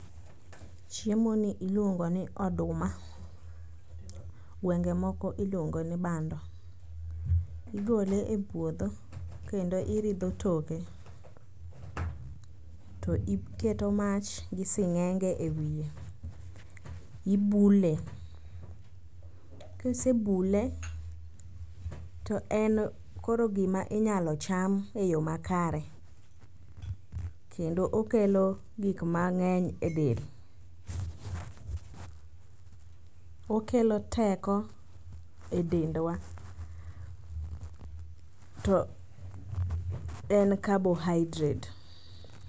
Chiemoni iluongo ni oduma. Gwenge moko iluonge ni bando, igole e puodho kendo iridho toke to iketo mach gi sing'enge e wiye. Ibule, kisebule to en koro gima inyalo cham e yo makare kendo okelo gikmang'eny e del. Okelo teko e dendwa to en carbohydrate.